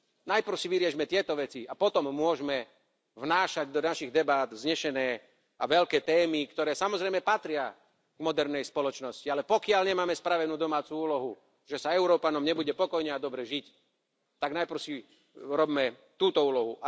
Najprv si vyriešme tieto veci a potom môžeme vnášať do našich debát vznešené a veľké témy, ktoré, samozrejme, patria k modernej spoločnosti, ale pokiaľ nemáme spravenú domácu úlohu, že sa Európanom nebude spokojne a dobre žiť, tak najprv si robme túto úlohu.